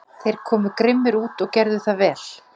Gekk yfir á rauðu ljósi